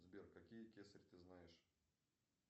сбер какие кесарь ты знаешь